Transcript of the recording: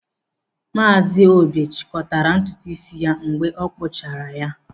Maazi Obi chịkọtara ntutu isi ya mgbe a kpụchara ya isi.